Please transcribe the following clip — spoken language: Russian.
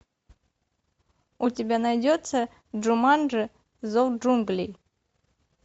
у тебя найдется джуманджи зов джунглей